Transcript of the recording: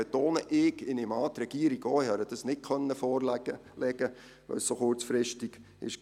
Ich betone: , denn ich konnte es der Regierung nicht vorlegen, weil es so kurzfristig kam.